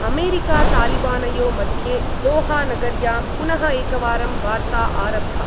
अमेरिकातालिबानयो मध्ये दोहा नगर्यां पनुः एकवारं वार्ता आरब्धा।